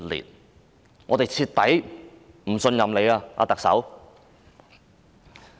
特首，我們已徹底不信任你。